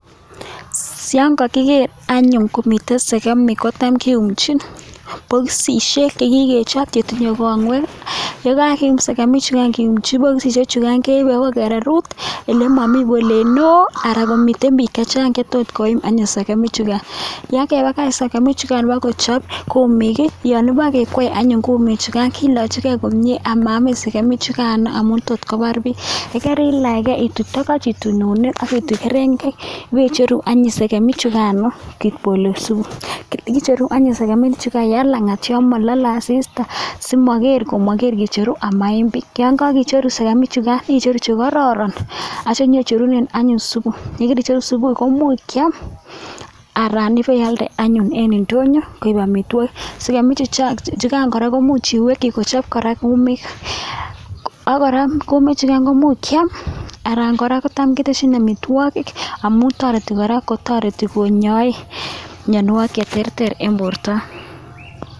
Siyon kakigeer anyun komitei sekemik kotam keunchin bokisisiek che kikechop che tinyei kongwek, ye kakium sekemik chukan keumchi bokisisiek chukan keipe akoi kererut ole mami polet neo, ara komiten biik chechang che tot koim anyun sekemik chukan. Yon kepakach anyuun sekemik chukan ipkochop kumiik, yon pekekwei anyun kumiik chukan kilachikei komnye amaamin sekemik chukan amun tot kobar biik, ye kerilachkei ituch togoch, ituuch eunik ak ituuk kerengek ipicheru anyun sekemik chukano kipolosu. Kicheru anyun sekemik chukai eng langat yon mololei asista simogeer yon kicheru amaiim biik, yon kakikcheru sekemik chukan icheru che koraran atyo picherunen anyun supu, yon kaicheru supu komuch kiam anan ipealde anyun eng indonyo koip amitwokik. Sekemik chukan kora komuch iwekchi kora kochop kumiik ak kora kumiik chukan komuch kiam anan kora kotam keteshin amitwokik amun toreti kora kotareti konyae mianwokik che terter eng borto.